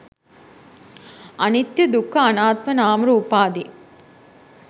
අනිත්‍ය, දුක්ඛ, අනාත්ම, නාමරූපාදී